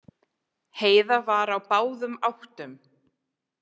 Heiða var á báðum áttum.